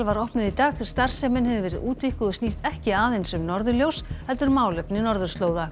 var opnuð í dag starfsemin hefur verið útvíkkuð og snýst ekki aðeins um norðurljós heldur málefni norðurslóða